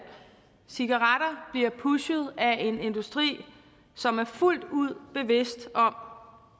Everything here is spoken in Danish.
cigaretter bliver pushet af en industri som er fuldt ud bevidst om